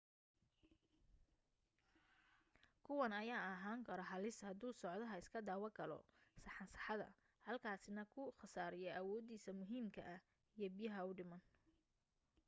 kuwan ayaa ahaan karo halis haduu socdaha iska dawa galo saxansaxada halkaasi na ku khasaariyo awoodiisa muhiimka ah iyo biyaha u dhiman